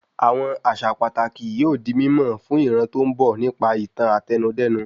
Àwọn àṣà pàtàkì yóò di mímọ̀ fún ìran tó ń bo nípa ìtàn Àtẹnudẹ́nu